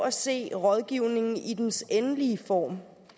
at se rådgivningen i dens endelige form